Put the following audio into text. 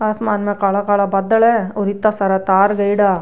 आसमान में काला काला बादल है और इतना तार गयेडा।